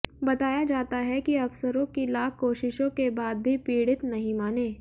बताया जाता है कि अफसरों की लाख कोशिशों के बाद भी पीडि़त नहीं माने